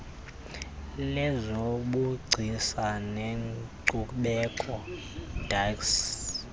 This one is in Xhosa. lezobugcisa nenkcubeko dac